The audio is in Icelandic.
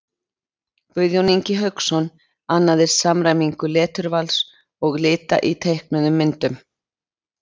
Guðjón Ingi Hauksson annaðist samræmingu leturvals og lita í teiknuðum myndum.